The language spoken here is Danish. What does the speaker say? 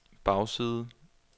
bagside